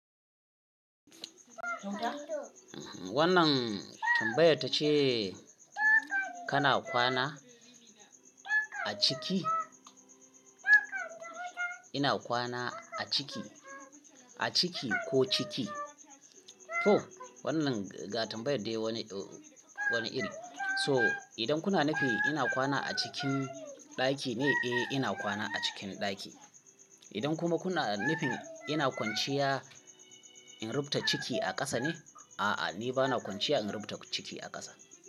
Wannan tambayar tace kana kwana a ciki? Ina kwana a ciki, a ciki ko ciki? To wannan ga tambayar dai wani, wani iri. So idan kuna nufin ina kwana a cikin ɗaki ne? Eh ina kwana a cikin ɗaki. Idan kuma kuna nufin ina kwanciya in rubuta ciki a ƙasa ne? A'a ni bana kwanciya in rubuta ciki a ƙasa.